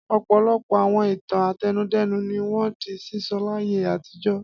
Ọ̀pọ̀lọpọ̀ àwọn ìtàn àtẹnudẹ́nu ni wọ́n di sísọ láyé àtijọ́.